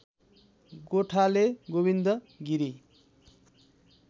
गोठाले Govind Giri